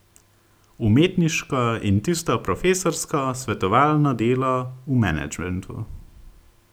Umetniško in tisto profesorsko, svetovalno, delo v menedžmentu.